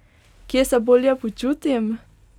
Kje se bolje počutim?